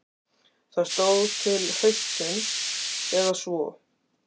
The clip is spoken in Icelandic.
Það stóð til haustsins eða svo.